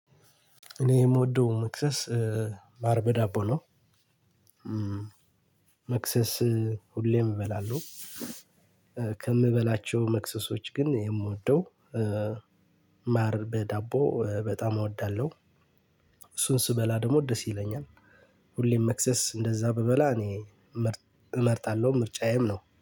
እኔ የምወደው መክሰስ ማር በ ዳቦ ነው። መክሰስ ሁሌም እበላለሁ ከምበላቸው መክሰሶች ግን የምወደው ማር በዳቦ በጣም እወዳለሁ። እሱን ስበላ ደግሞ ደስ ይለኛል። ሁሌም መክሰስ እንደዛ ብበላ እኔ እመርጣለሁ ምርጫዬም ነው